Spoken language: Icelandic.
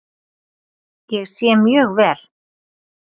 Ég sé mjög vel.